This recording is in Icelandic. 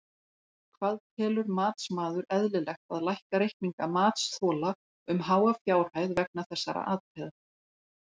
Hvað telur matsmaður eðlilegt að lækka reikninga matsþola um háa fjárhæð vegna þessara atriða?